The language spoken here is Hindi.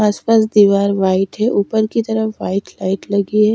आस आप दीवार व्हाइट है ऊपर की तरफ व्हाइट लाइट लगी है।